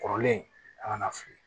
Kɔrɔlen a kana fili